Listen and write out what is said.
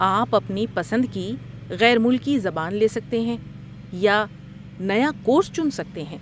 آپ اپنی پسند کی غیر ملکی زبان لے سکتے ہیں یا نیا کورس چن سکتے ہیں۔